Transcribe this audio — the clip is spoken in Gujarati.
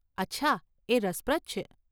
અચ્છા, એ રસપ્રદ છે.